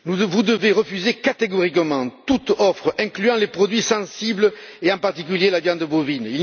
Vous devez refuser catégoriquement toute offre incluant les produits sensibles et, en particulier, la viande bovine.